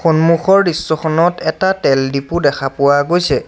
সন্মুখৰ দৃশ্যখনত এটা তেল ডিপু দেখা পোৱা গৈছে।